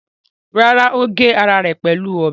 Rárá, ó gé ara rẹ̀ pẹ̀lú ọ̀bẹ.